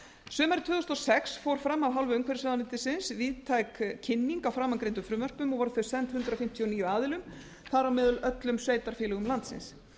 tvö þúsund og sex fór fram af hálfu umhverfisráðuneytisins víðtæk kynning á framangreindum frumvörpum og voru þau send hundrað fimmtíu og níu aðilum þar á meðal öllum sveitarfélögum landsins